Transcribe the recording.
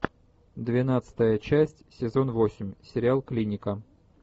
двенадцатая часть сезон восемь сериал клиника